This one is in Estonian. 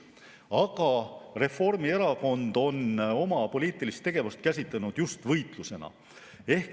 Aga Reformierakond on oma poliitilist tegevust käsitlenud just võitlusena.